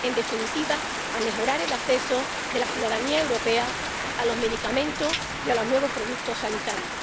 en definitiva, a mejorar el acceso de la ciudadanía europea a los medicamentos y a los nuevos productos sanitarios.